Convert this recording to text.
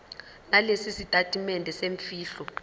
nalesi sitatimende semfihlo